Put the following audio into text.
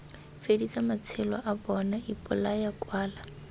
fedisa matsheloa bona ipolaya kwala